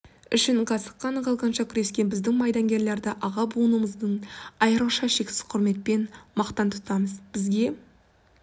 үшін қасық қаны қалғанша күрескен біздің майдангерлерді аға буынымыздын айрықша шексіз құрметпен мақтан тұтамыз бізге